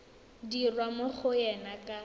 dirwa mo go ena ka